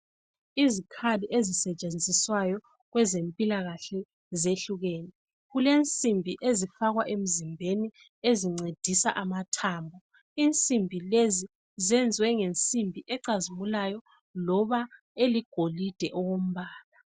Izikhali ezisetshenziswayo kwezempilakahle zehlukene. Kulensimbi ezifakwa emzimbeni ezincedisa amathambo. Insimbi lezi zenziwe ngensimbi ecazimulayo loba eligolide okombala